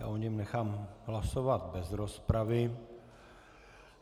Já o něm nechám hlasovat bez rozpravy.